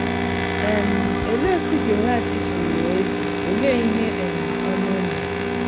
um Olee otú Jehoash si ghọọ eze, olee ihe um ọma o mere?